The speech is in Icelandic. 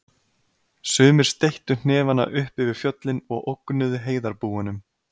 Sumir steyttu hnefana upp yfir fjöllin og ógnuðu heiðarbúunum.